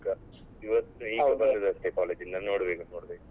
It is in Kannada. ಇವತ್ ಈಗ ಬಂದದಷ್ಟೇ college ಇಂದ ಈಗ ನೋಡ್ಬೇಕು ನೋಡ್ಬೇಕು.